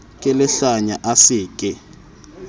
ke lehlanya a se ke